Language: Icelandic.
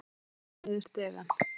Stekkur niður stigann.